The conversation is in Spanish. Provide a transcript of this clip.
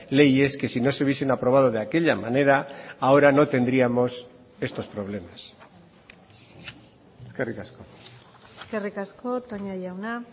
leyes que si no se hubiesen aprobado de aquella manera ahora no tendríamos estos problemas eskerrik asko eskerrik asko toña jauna